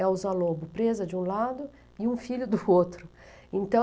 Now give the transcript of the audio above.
Elza Lobo, presa de um lado e um filho do outro.